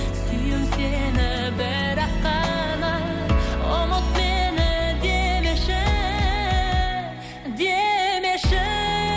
сүйем сені бірақ қана ұмыт мені демеші демеші